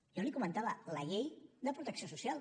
jo li ho comentava la llei de protecció social